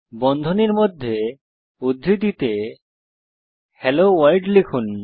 বন্ধনীর মধ্যে উদ্ধৃতিতে হেলোভোর্ল্ড লিখুন